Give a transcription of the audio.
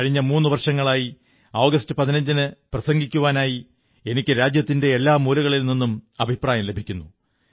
കഴിഞ്ഞ മൂന്നു വർഷങ്ങളായി ആഗസ്റ്റ് 15ന് പ്രസംഗിക്കുവാനായി എനിക്ക് രാജ്യത്തിന്റെ എല്ലാ കോണുകളിൽ നിന്നും അഭിപ്രായങ്ങൾ ലഭിക്കുന്നു